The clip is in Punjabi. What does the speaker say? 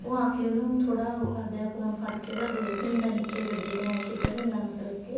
ਉਹ ਆਕੇ ਉਹਨੂੰ ਥੋੜਾ ਉਹ ਕਰਦਾ ਏ phone ਫੜਕੇ ਉਹਦਾ ਗੇਰ ਦਿੰਦਾ ਏ ਨੀਚੇ ਗੱਡੀ ਦੇ ਐ ਸਿੱਟ ਦਿੰਦਾ ਮਤਲਬ ਕੇ